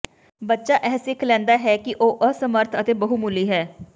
ਬੱਚਾ ਇਹ ਸਿੱਖ ਲੈਂਦਾ ਹੈ ਕਿ ਉਹ ਅਸਮਰਥ ਹੈ ਅਤੇ ਬਹੁਮੁੱਲੀ ਹੈ